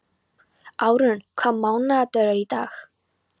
Árún, hvaða mánaðardagur er í dag?